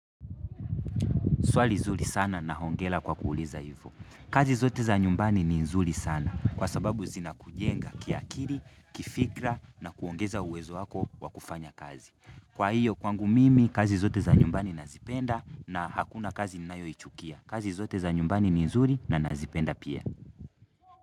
Swali zuri sana na hongera kwa kuuliza hivyo. Kazi zote za nyumbani ni nzuri sana kwa sababu zina kujenga kiakili, kifikira na kuongeza uwezo wako wa kufanya kazi. Kwa hiyo kwangu mimi kazi zote za nyumbani nazipenda na hakuna kazi ninayo ichukia. Kazi zote za nyumbani ni nzuri na nazipenda pia.